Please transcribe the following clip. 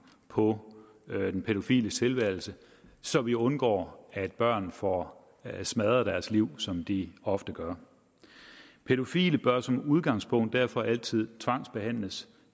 på den pædofiles tilværelse så vi undgår at børn får smadret deres liv som de ofte gør pædofile bør som udgangspunkt derfor altid tvangsbehandles